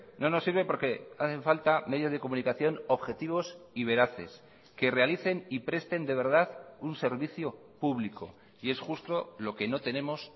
no nos sirve porque hacen falta medios de comunicación objetivos y veraces que realicen y presten de verdad un servicio público y es justo lo que no tenemos